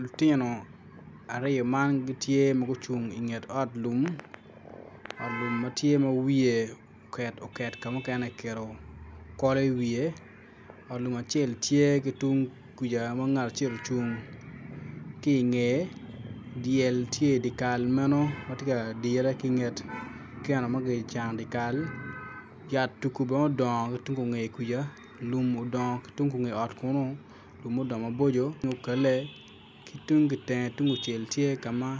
Lutino aryo man gitye ma gucung inget ot lum ot lum ma tye ma wiye oket oket ka mukene kiketo kolo iwiye ot lum acel tye ki tung kuca. Ngat acel ocung ki ingeye dyel tye idyekal meno ma tye ka dire ki inget keno ma kicano idyekal yat tugu bene odongo ki tung kungeye kuca, lum odongo ki tung kungeye kunu lum ma odongo maboco kine okale ki tung teng tung kucel tye ka ma